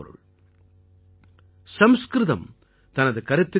एकता मूलकम्राष्ट्रे ज्ञान विज्ञान पोषकम् |